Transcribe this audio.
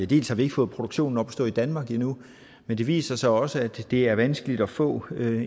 dels har vi ikke fået produktionen op at stå i danmark endnu men det viser sig også at det er vanskeligt at få